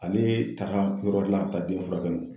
Ale taara kodɔ la ka taa den furakɛli la